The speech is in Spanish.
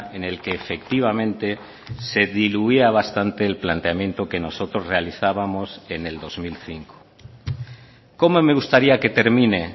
en el que efectivamente se diluía bastante el planteamiento que nosotros realizábamos en el dos mil cinco cómo me gustaría que termine